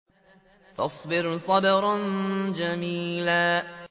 فَاصْبِرْ صَبْرًا جَمِيلًا